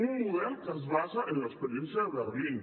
un model que es basa en l’experiència de berlín